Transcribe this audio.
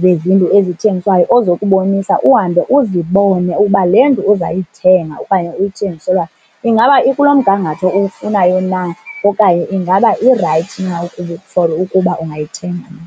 zezindlu ezithengiswayo ozokubonisa, uhambe uzibone uba le ndlu uzayithenga okanye uyithengiselwayo ingaba ikulo mgangatho uwufunayo na okanye ingaba irayithi na ukuba for ukuba ungayithenga na.